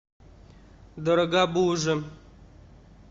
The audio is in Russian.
дорогобуже